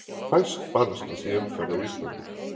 Fæst banaslys í umferð á Íslandi